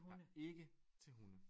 Jeg er ikke til hunde